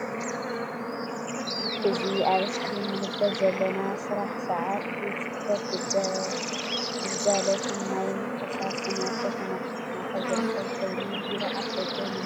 እዚ አብ እስክሪን እንምልክት ዘለና ስራሕ ሰዓት ቤት ፅሕፈት ግልጋልት ማይን ፈሳስን አብ ከትማ አክሱም ማእከል ዝርከብ ኮይኑ ቤሮ አፍ ደገ ንምልከት አለና::